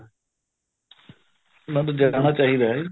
ਚਾਹੀਦਾ ਹੈ